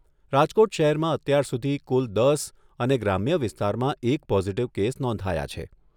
રાજકોટ શહેરમાં અત્યાર સુધી કુલ દસ અને ગ્રામ્ય વિસ્તારમાં એક પોઝિટિવ કેસ નોંધાયા છે.